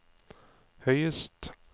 høyest